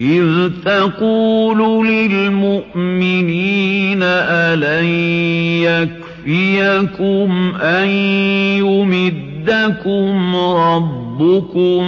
إِذْ تَقُولُ لِلْمُؤْمِنِينَ أَلَن يَكْفِيَكُمْ أَن يُمِدَّكُمْ رَبُّكُم